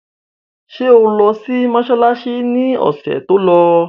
Ṣé o lọ sí mọsálásí ni ọ̀sẹ̀ tó lọ?